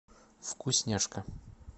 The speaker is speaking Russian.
вкусняшка